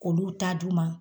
K'olu ta d'u ma.